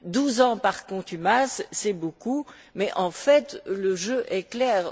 Douze ans par contumace, c'est beaucoup, mais, en fait, le jeu est clair.